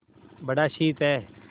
बड़ा शीत है